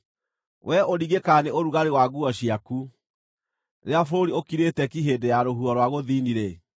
Wee ũringĩkaga nĩ ũrugarĩ wa nguo ciaku rĩrĩa bũrũri ũkirĩte ki hĩndĩ ya rũhuho rwa gũthini-rĩ,